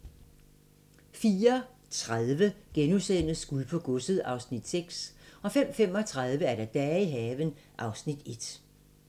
04:30: Guld på godset (Afs. 6)* 05:35: Dage i haven (Afs. 1)